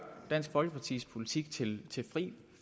dansk folkepartis politik til fri